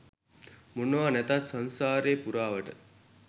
මොනවා නැතත් සංසාරෙ පුරාවට